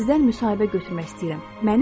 Mən sizdən müsahibə götürmək istəyirəm.